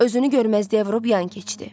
Özünü görməzdən vurub yan keçdi.